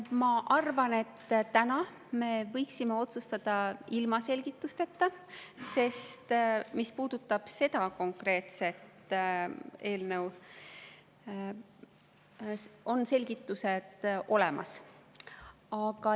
Ma arvan, et täna me võiksime otsustada ilma selgitusteta, sest mis puudutab seda konkreetset eelnõu, siis selgitused on olemas.